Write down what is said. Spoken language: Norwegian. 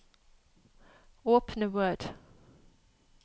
Åpne Word